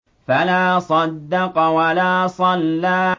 فَلَا صَدَّقَ وَلَا صَلَّىٰ